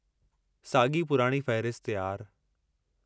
साॻी पुराणी फ़हिरिस्त, यार।